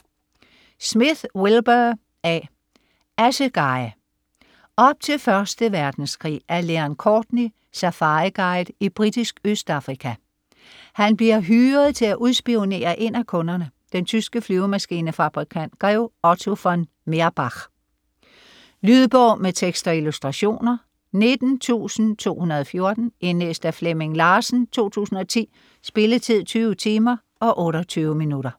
Smith, Wilbur A.: Assegai Op til 1. verdenskrig er Leon Courtney safariguide i Britisk Østafrika. Han bliver hyret til at udspionere en af kunderne, den tyske flymaskinefabrikant grev Otto von Meerbach. Lydbog med tekst og illustrationer 19214 Indlæst af Flemming Larsen, 2010. Spilletid: 20 timer, 28 minutter.